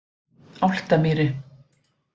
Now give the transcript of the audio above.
Álftamýri